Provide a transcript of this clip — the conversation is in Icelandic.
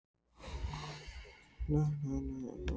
Mestmegnis fyrir velvild íslenskra ástkvenna þeirra.